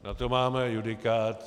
Na to máme judikát.